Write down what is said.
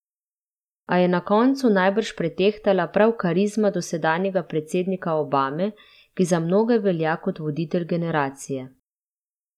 A je na koncu najbrž pretehtala prav karizma dosedanjega predsednika Obame, ki za mnoge velja kot voditelj generacije.